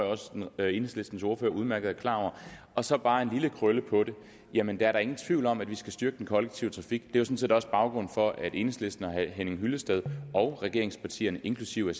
jeg også enhedslistens ordfører udmærket er klar over og så bare en lille krølle på det jamen der er da ingen tvivl om at vi skal styrke den kollektive trafik det er set også baggrunden for at enhedslisten og herre henning hyllested og regeringspartierne inklusive